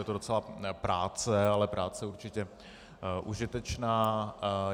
Je to docela práce, ale práce určitě užitečná.